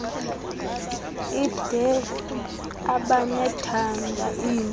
ide ababethanda iindaba